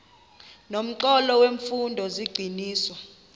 nomxholo wemfundo zigxininiswa